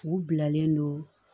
U bilalen don